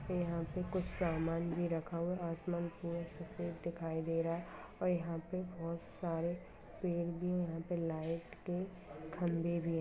यंहा पे कुछ सामान भी रखा हुआ है आसमान पूरा सफेद दिखाई दे रहा है और यंहा पे बहुत सारे पेड़ भी यहाँ भी लाइट के खम्बे भी है।